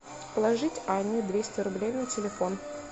положить анне двести рублей на телефон